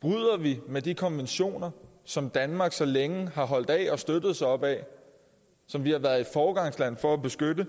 bryder vi med de konventioner som danmark så længe har holdt af og støttet sig op ad som vi har været et foregangsland for at beskytte